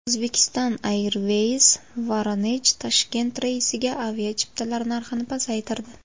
Uzbekistan Airways VoronejToshkent reysiga aviachiptalar narxini pasaytirdi.